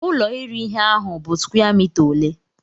Ụlo iri ihe ahụ bụ square mita ole?